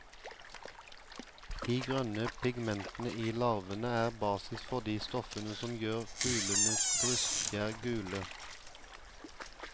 De grønne pigmentene i larvene er basis for de stoffene som gjør fuglenes brystfjær gule.